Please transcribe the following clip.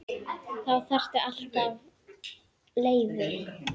Þá þarftu alltaf leyfi.